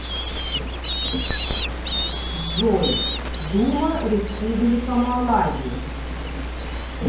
джой дума республика малави